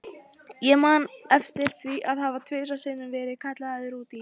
Ég man eftir því að hafa tvisvar sinnum verið kallaður út í